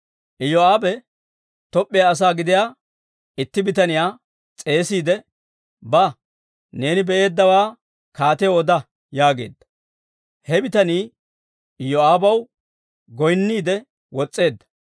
Iyoo'aabe Toop'p'iyaa asaa gidiyaa itti bitaniyaa s'eesiide, «Ba; neeni be'eeddawaa kaatiyaw oda» yaageedda; He bitanii Iyoo'aabaw goynniide wos's'eedda.